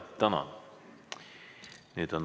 Tänan!